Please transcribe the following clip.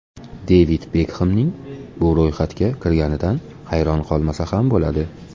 Devid Bekxemning bu ro‘yxatga kirganidan hayron qolmasa ham bo‘ladi.